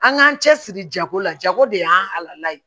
An k'an cɛ siri jago la jago de y'an ye